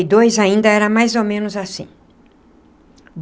Dois ainda era mais ou menos assim.